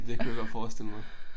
Det kunne jeg godt forestille mig